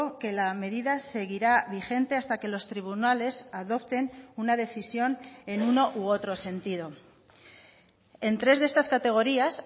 que la medida seguirá vigente hasta que los tribunales adopten una decisión en uno u otro sentido en tres de estas categorías